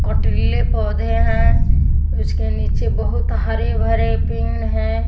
कोटिल्ले पौधे हैं उसके नीचे बहुत हरे भरे पेड़ हैं।